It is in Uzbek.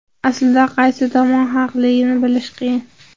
Aslida qaysi tomon haqligini bilish qiyin.